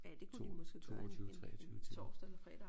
2 22 23 tiden